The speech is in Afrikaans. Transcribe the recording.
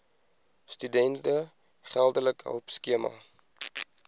studente geldelike hulpskema